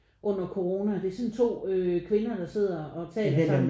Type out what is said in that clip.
Under corona det er sådan to øh kvinder der sidder og taler sammen